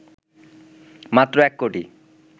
মাত্র ১ কোটি